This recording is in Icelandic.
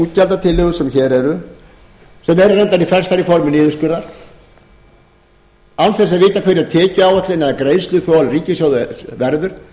útgjaldatillögur sem hér eru sem eru reyndar flestar í formi niðurskurðar án þess að vita hver er tekjuáætlun eða greiðsluþol ríkissjóðs verður